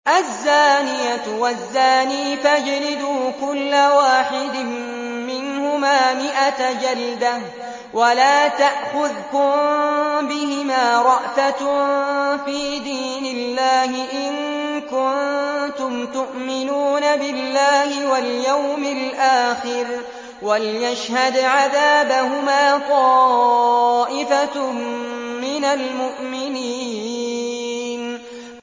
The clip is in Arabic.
الزَّانِيَةُ وَالزَّانِي فَاجْلِدُوا كُلَّ وَاحِدٍ مِّنْهُمَا مِائَةَ جَلْدَةٍ ۖ وَلَا تَأْخُذْكُم بِهِمَا رَأْفَةٌ فِي دِينِ اللَّهِ إِن كُنتُمْ تُؤْمِنُونَ بِاللَّهِ وَالْيَوْمِ الْآخِرِ ۖ وَلْيَشْهَدْ عَذَابَهُمَا طَائِفَةٌ مِّنَ الْمُؤْمِنِينَ